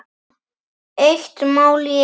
Eitt mál í einu.